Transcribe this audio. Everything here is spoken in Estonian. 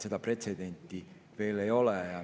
Seda pretsedenti veel ei ole.